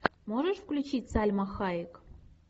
можешь включить сальма хайек